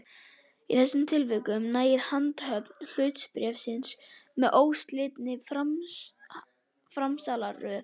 Í þessum tilvikum nægir handhöfn hlutabréfsins með óslitinni framsalsröð.